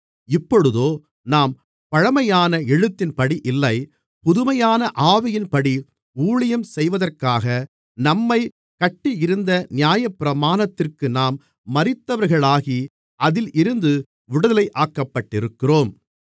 இப்பொழுதோ நாம் பழமையான எழுத்தின்படி இல்லை புதுமையான ஆவியின்படி ஊழியம் செய்வதற்காக நம்மைக் கட்டியிருந்த நியாயப்பிரமாணத்திற்கு நாம் மரித்தவர்களாகி அதில் இருந்து விடுதலையாக்கப்பட்டிருக்கிறோம்